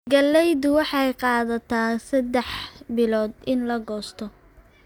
Galleydu waxay qaadataa saddex bilood in la goosto.